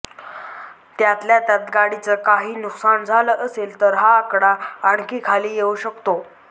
त्यातल्या त्यात गाडीचं काही नुकसान झालं असेल तर हा आकडा आणखी खाली येऊ शकतो